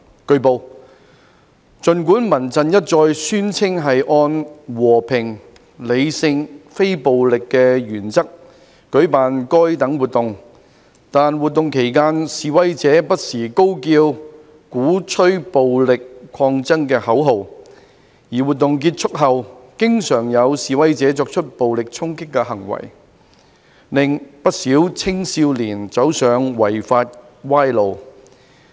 據報，儘管民陣一再宣稱是按"和平、理性、非暴力"的原則舉辦該等活動，但活動期間示威者不時高叫鼓吹暴力抗爭的口號，而活動結束後經常有示威者作出暴力衝擊行為，令不少青少年走上違法歪路。